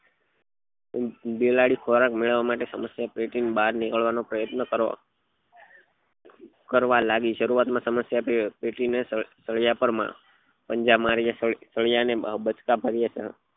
બિલાડી ખોરાક મેળવવા માટે સમસ્યા પેટી ની બાર નીકળવા નો પ્રયાસ કરવા લાગી સરુઆત માં સમસ્યા પેટી ને સળિયા પર પંજા માર્યા સળિયા ને બટકા ભર્યા